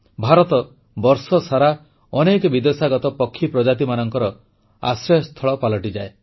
ଭାରତ ବର୍ଷସାରା ଅନେକ ବିଦେଶାଗତ ପକ୍ଷୀପ୍ରଜାତିମାନଙ୍କ ଆଶ୍ରୟସ୍ଥଳ ପାଲଟିଥାଏ